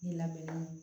I labɛnnen don